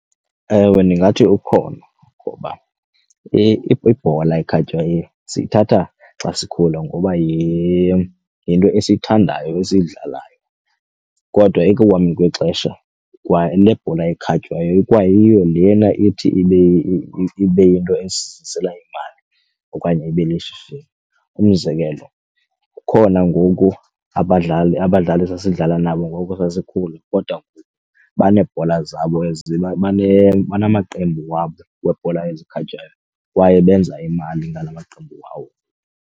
Ewe, ndingathi ukhona ngoba ibhola ekhatywayo siyithatha xa sikhula ngoba yinto esiyithandayo esiyidlalayo. Kodwa ekuhambeni kwexesha kwale bhola ekhatywayo ikwayiyo lena ithi ibe yinto esizisela imali okanye ibe lishishini. Umzekelo kukhona ngoku abadlali esasidlala nabo ngoku sasikhula kodwa baneebhola zabo ezi banamaqembu wabo webhola ezikhatywayo kwaye benza imali ngala maqembu wabo.